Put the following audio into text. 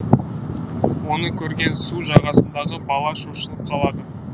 оны көрген су жағасындағы бала шошынып қалады